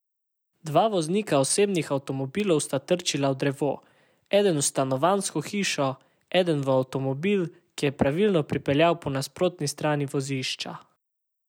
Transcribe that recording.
Dva voznika osebnih avtomobilov sta trčila v drevo, eden v stanovanjsko hišo, eden pa v avtomobil, ki je pravilno pripeljal po nasprotni strani vozišča.